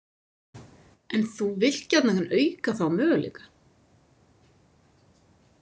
En þú vilt gjarnan auka þá möguleika.